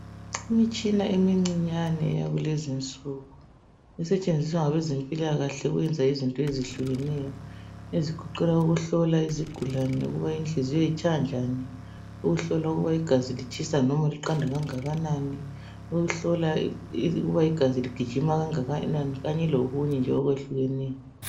Imitshina emincinyane eyakulezi insuku esentshenziswa ngabezempilakahle ukuyenza izinto ezehlukeneyo. Ezigoqela ukuhlola izigulane ukuba inhliziyo itshaya njani, ukuhlola ukuba litshisa noma liqanda kangakanani, ukuhlola ukuba igazi ligijima kangakanani kanye lokunye okwehlukeneyo.